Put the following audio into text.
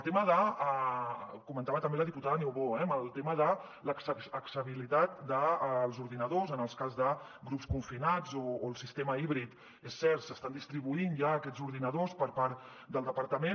ho comentava també la diputada niubó eh que en el tema de l’accessibilitat dels ordinadors en el cas de grups confinats o el sistema híbrid és cert s’estan distribuint ja aquests ordinadors per part del departament